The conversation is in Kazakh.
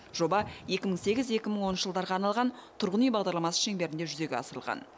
жоба екі мың сегіз екі мың оныншы жылдарға арналған тұрғын үй бағдарламасы шеңберінде жүзеге асырылған